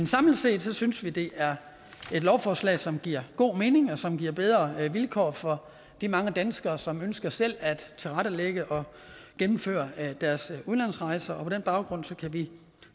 samlet set synes vi det er et lovforslag som giver god mening og som giver bedre vilkår for de mange danskere som ønsker selv at tilrettelægge og gennemføre deres udlandsrejser og på den baggrund kan vi